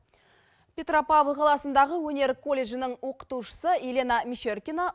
петропавл қаласындағы өнер колледжінің оқытушысы елена мещеркина